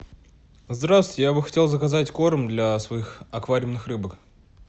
здравствуйте я бы хотел заказать корм для своих аквариумных рыбок